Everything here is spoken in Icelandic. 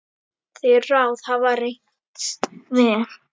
Þau ráð hafa reynst vel.